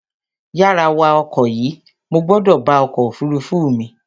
Yára wá ọkọ̀ yìí, mo gbọ́dọ̀ bá ọkọ̀ òfurufú mi